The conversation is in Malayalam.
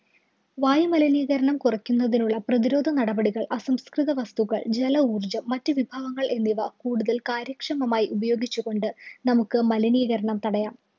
വായുമലിനീകരണം മലിനീകരണം കുറയ്ക്കുന്നതിനുള്ള പ്രതിരോധനടപടികള്‍, അസംസ്കൃത വസ്തുക്കള്‍, ജലഊര്‍ജ്ജം, മറ്റു വിഭവങ്ങള്‍ എന്നിവ കൂടുതല്‍ കാര്യക്ഷമമായി ഉപയോഗിച്ച് കൊണ്ട് നമുക്ക് മലിനീകരണം തടയാം.